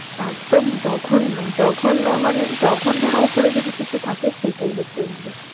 একদম জঘন্য জঘন্য মানে জঘন্যের উপরে যদি কিছু থাকে সেটাই হচ্ছে ওইগুলো।